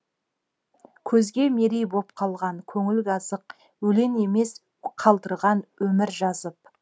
көзге мерей боп қалған көңілге азық өлең емес қалдырған өмір жазып